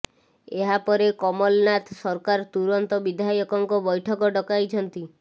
ଏହା ପରେ କମଲନାଥ ସରକାର ତୁରନ୍ତ ବିଧାୟକଙ୍କ ବୈଠକ ଡକାଇଛନ୍ତି